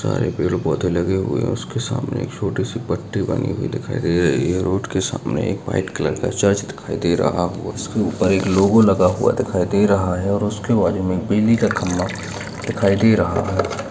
सारे पेड़ पौधे लगे हुऐ हैं उसके सामने छोटी सी टंगी हुई दिखाई दे रही है। रोड के सामने एक व्हाइट कलर का चर्च दिखाई दे रहा है उसके ऊपर एक लोगो लगा हुआ दिखाई दे रहा है और उसके बाजु में बिजली का खम्भा दिखाई दे रहा है।